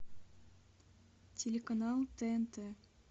телеканал тнт